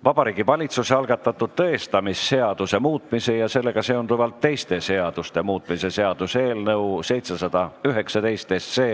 Vabariigi Valitsuse algatatud tõestamisseaduse muutmise ja sellega seonduvalt teiste seaduste muutmise seaduse eelnõu 719